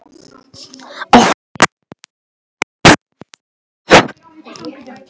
Allt var tekið og stolið.